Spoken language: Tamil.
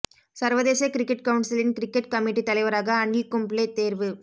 சர்வதேச கிரிக்கெட் கவுன்சிலின் கிரிக்கெட் கமிட்டி தலைவராக அனில் கும்ப்ளே தேர்வு